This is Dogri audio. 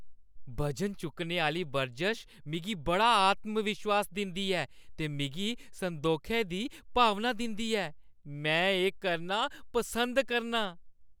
बजन चुक्कने आह्‌ली बरजश मिगी बड़ा आत्मविश्वास दिंदी ऐ ते मिगी संदोखै दी भावना दिंदी ऐ। में एह् करना पसंद करना आं।